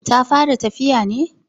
Ta fara tafiya ne?